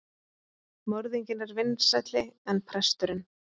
Morðinginn er vinsælli en presturinn.